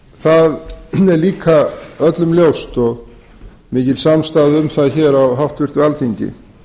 það er líka öllum ljóst og mikil samstaða um það hér á háttvirtu alþingi